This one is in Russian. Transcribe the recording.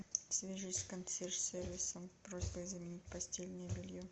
свяжись с консьерж сервисом просьба заменить постельное белье